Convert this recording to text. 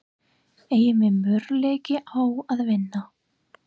Eigum við möguleika á að vinna?